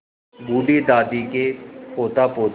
बूढ़ी दादी के पोतापोती